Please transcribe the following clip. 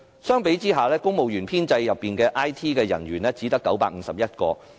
相比下，公務員編制內的 IT 人員只有951個。